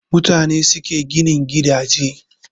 Mutane ne suke ginin gidaje